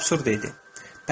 Əlbəttə, bu absurd idi.